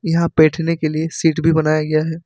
यहां बैठने के लिए सीट भी बनाया गया है।